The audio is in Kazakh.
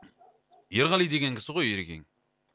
ерғали деген кісі ғой ерекең